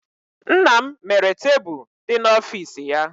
Nna m mere tebụl dị n'ọfịs ya.